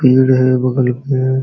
पेड़ है बगल पे --